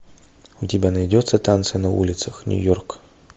у тебя найдется танцы на улицах нью йорк